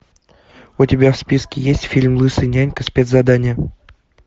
у тебя в списке есть фильм лысый нянька спецзадание